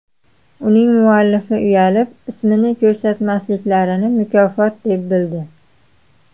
Uning muallifi uyalib, ismini ko‘rsatmasliklarini mukofot deb bildi.